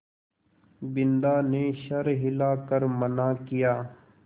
बिन्दा ने सर हिला कर मना किया